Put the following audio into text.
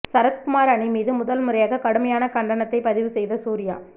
சரத்குமார் அணி மீது முதல்முறையாக கடுமையான கண்டனத்தை பதிவு செய்த சூர்யா